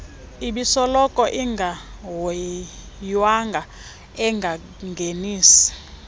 ebisoloko ingahoywanga engangenisi